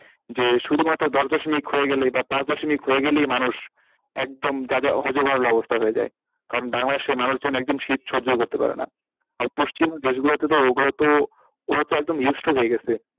যে শুধু মাত্র দশ দশমিক হয়ে গেলেই বা পাঁচ দশমিক হয়ে গেলেই মানুষ একদম যা যা হযবরল অবস্থা হয়ে যায় কারণ তার মানে সে মানুষজন একদম শীত সহ্য করতে পারে না আর পশ্চিমী দেশ গুলোতে তো ওরা তো একদমই হয়েগেছে,